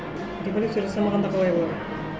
революция жасамағанда қалай болады